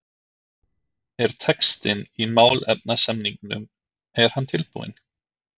Þorbjörn: Er textinn í málefnasamningnum er hann tilbúinn?